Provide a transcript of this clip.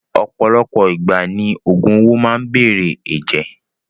Ọ̀pọ̀lọpọ̀ ìgbà ni ògùn owó máa n bere ẹ̀jẹ̀.